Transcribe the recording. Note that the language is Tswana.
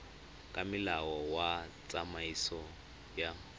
ka molao wa tsamaiso ya